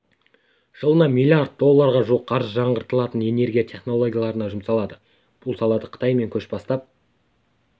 жылына миллиард долларға жуық қаржы жаңғыртылатын энергия технологияларына жұмсалады бұл салада қытай мен көш бастап